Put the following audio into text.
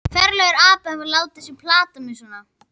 Ferlegur api að hafa látið þá plata mig svona.